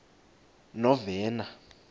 novena